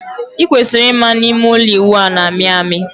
I kwesiri ịma na ime ụlọ ịwụ a na-amị amị.